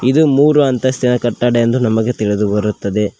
ಇದು ಮೂರು ಅಂತಸ್ತಿನ ಕಟ್ಟಡ ಎಂದು ನಮಗೆ ತಿಳಿದು ಬರುತ್ತದೆ.